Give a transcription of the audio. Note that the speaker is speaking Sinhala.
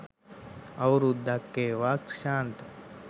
අවුරුද්දක් වේවා ක්‍රිෂාන්ත